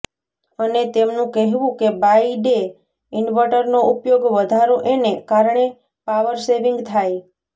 અને તેમનું કહેવું કે બાય ડે ઇનવટર નો ઉપયોગ વધારો એને કારણે પાવરસેવીંગ થાય